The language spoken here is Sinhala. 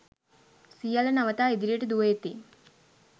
සියල්ල නවතා ඉදිරියට දුව එති.